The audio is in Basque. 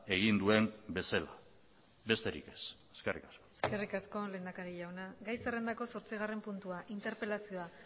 egin duen bezala besterik ez eskerrik asko eskerrik asko lehendakari jauna gai zerrendako zortzigarren puntua interpelazioa